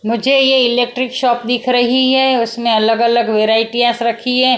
मुझे ये electric shop दिख रही है उसमें अलग-अलग वैरायटीयास रखी है।